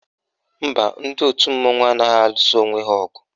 Mba, ndị òtù mmanwụ anaghị alụsa onwe ha ọgụ